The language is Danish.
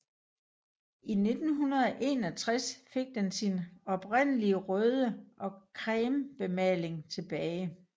I 1961 fik den sin oprindelige røde og creme bemaling tilbage